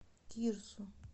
кирсу